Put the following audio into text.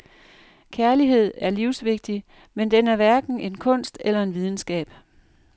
Kærlighed er livsvigtig, men den er hverken en kunst eller en videnskab.